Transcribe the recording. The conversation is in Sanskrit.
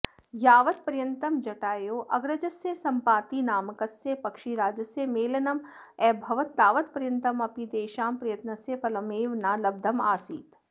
यावत्पर्यन्तं जटायोः अग्रजस्य सम्पातिनामकस्य पक्षिराजस्य मेलनमभवत् तावत्पर्यन्तमपि तेषां प्रयत्नस्य फलमेव न लब्धमासीत्